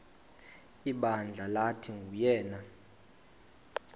ibandla lathi nguyena